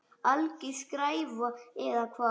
Alger skræfa eða hvað?